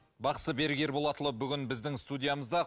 бақсы берік ерболатұлы бүгін біздің студиямызда